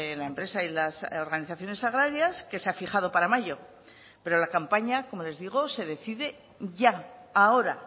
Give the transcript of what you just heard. la empresa y las organizaciones agrarias que se ha fijado para mayo pero la campaña como les digo se decide ya ahora